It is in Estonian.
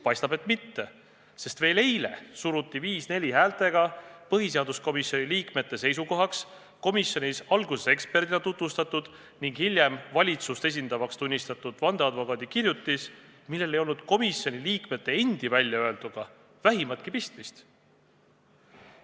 Paistab et mitte, sest veel eile surusid põhiseaduskomisjoni liikmed 5 : 4 häältega oma seisukohaks komisjonis alguses eksperdina tutvustatud ning hiljem valitsuse esindajaks tunnistatud vandeadvokaadi kirjutise, millel ei olnud komisjoni liikmete endi väljaöelduga vähimatki pistmist.